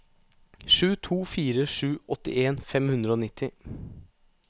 sju to fire sju åttien fem hundre og nitti